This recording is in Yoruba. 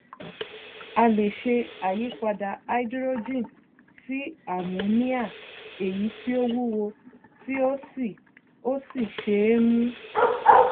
a lè ṣe àyípadà háídírójìn sí àmóníà èyí tí ó wúwo tí ó sì ó sì ṣe é mú